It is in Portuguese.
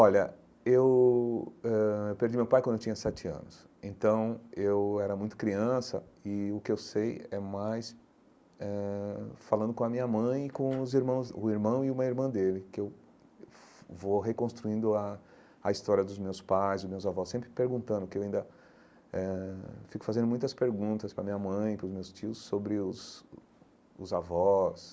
Olha, eu ãh perdi meu pai quando eu tinha sete anos, então eu era muito criança e o que eu sei é mais eh falando com a minha mãe e com os irmãos o irmão e uma irmã dele, que eu vou reconstruindo a a história dos meus pais, dos meus avós, sempre perguntando, que eu ainda eh fico fazendo muitas perguntas para a minha mãe, para os meus tios, sobre os os avós,